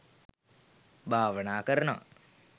භාවනා කරනවා